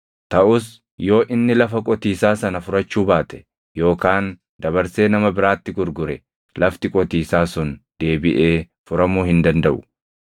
Taʼus yoo inni lafa qotiisaa sana furachuu baate, yookaan dabarsee nama biraatti gurgure, lafti qotiisaa sun deebiʼee furamuu hin dandaʼu.